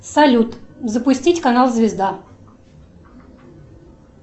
салют запустить канал звезда